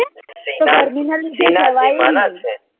તો ગરમી ના લીધે જવાયું જ નહી